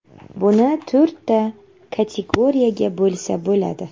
Buni to‘rtta kategoriyaga bo‘lsa bo‘ladi.